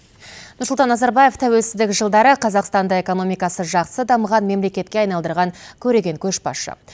нұрсұлтан назарбаев тәуелсіздік жылдары қазақстанды экономикасы жақсы дамыған мемлекетке айналдырған көреген көшбасшы